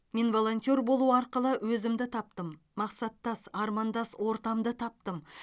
мен волонтер болу арқылы өзімді таптым мақсаттас армандас ортамды таптым